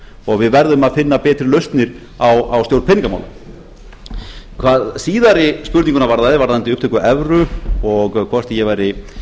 og við verðum að finna betri lausnir á stjórn peningamála hvað síðari spurninguna varðaði varðandi upptöku evru og hvort ég væri